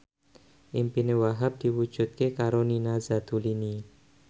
impine Wahhab diwujudke karo Nina Zatulini